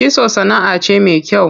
Kitso sanaʼa ce me kyau.